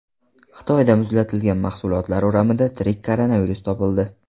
Xitoyda muzlatilgan mahsulotlar o‘ramidan tirik koronavirus topildi.